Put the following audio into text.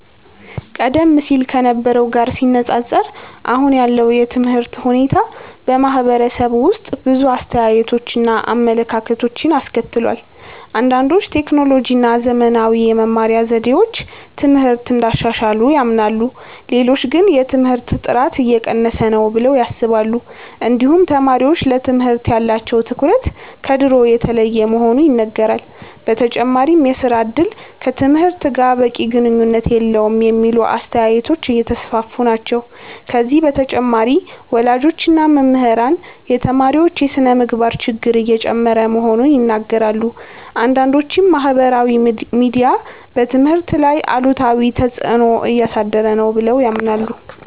ቀደም ሲል ከነበረው ጋር ሲነፃፀር አሁን ያለው የትምህርት ሁኔታ በማህበረሰቡ ውስጥ ብዙ አስተያየቶችን እና አመለካከቶችን አስከትሏል። አንዳንዶች ቴክኖሎጂ እና ዘመናዊ የመማሪያ ዘዴዎች ትምህርትን እንዳሻሻሉ ያምናሉ። ሌሎች ግን የትምህርት ጥራት እየቀነሰ ነው ብለው ያስባሉ። እንዲሁም ተማሪዎች ለትምህርት ያላቸው ትኩረት ከድሮ የተለየ መሆኑ ይነገራል። በተጨማሪም የሥራ እድል ከትምህርት ጋር በቂ ግንኙነት የለውም የሚሉ አስተያየቶች እየተስፋፉ ናቸው። ከዚህ በተጨማሪ ወላጆች እና መምህራን የተማሪዎች የስነ-ምግባር ችግር እየጨመረ መሆኑን ይናገራሉ። አንዳንዶችም ማህበራዊ ሚዲያ በትምህርት ላይ አሉታዊ ተፅዕኖ እያሳደረ ነው ብለው ያምናሉ።